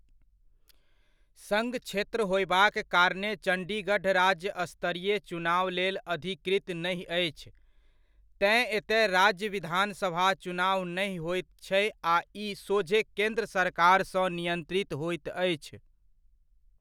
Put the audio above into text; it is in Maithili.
सङ्घ क्षेत्र होयबाक कारणेँ चण्डीगढ़ राज्य स्तरीय चुनाव लेल अधिकृत नहि अछि। तेँ एतय राज्य विधानसभा चुनाव नहि होइत छै आ ई सोझे केन्द्र सरकारसँ नियन्त्रित होइत अछि।